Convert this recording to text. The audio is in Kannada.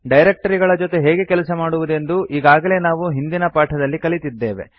ಡೈರಕ್ಟರಿಗಳ ಜೊತೆ ಹೇಗೆ ಕೆಲಸ ಮಾಡುವುದೆಂದು ಈಗಾಗಲೇ ನಾವು ಹಿಂದಿನ ಪಾಠದಲ್ಲಿ ಕಲಿತಿದ್ದೇವೆ